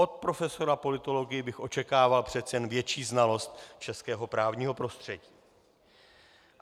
Od profesora politologie bych očekával přece jen větší znalost českého právního prostředí.